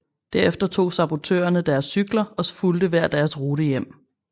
Derefter tog sabotørerne deres cykler og fulgte hver deres rute hjem